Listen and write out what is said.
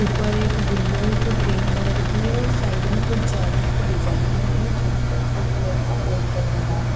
ऊपर एक विंडो है जो ग्रीन कलर की है और साइड में कुछ जाली की डिजाइन बनी है जहां पर ब्लू कलर का पोस्टर लगा है।